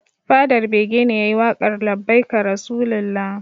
Fadar bege ne yayi waƙar labbaika rasulullah